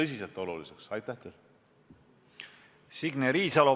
Signe Riisalo, palun!